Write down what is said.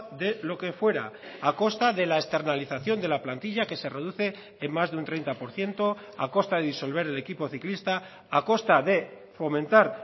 de lo que fuera a costa de la externalización de la plantilla que se reduce en más de un treinta por ciento a costa de disolver el equipo ciclista a costa de fomentar